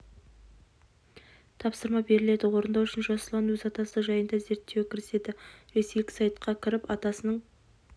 тапсырма беріледі орындау үшін жас ұлан өз атасы жайында зерттеуге кіріседі ресейлік сайтқа кіріп атасының